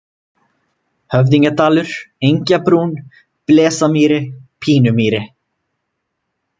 Höfðingjadalur, Engjabrún, Blesamýri, Pínumýri